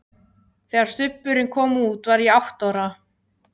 Þegar Stubburinn kom út var ég átta ára.